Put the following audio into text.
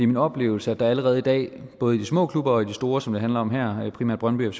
min oplevelse at der allerede i dag både i de små klubber og i de store som det handler om her primært brøndby og